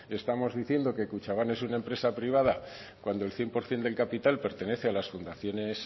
estamos diciendo que kutxabank es una empresa privada cuando el cien por cien del capital pertenecen a las fundaciones